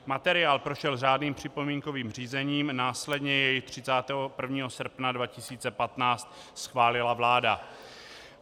Materiál prošel řádným připomínkovým řízením, následně jej 31. srpna 2015 schválila vláda.